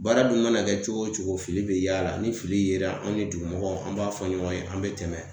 Baara dun mana kɛ cogo o cogo fili be y'a la ni fili yera anw ni dugu mɔgɔw an b'a fɔ ɲɔgɔn ye an be tɛmɛ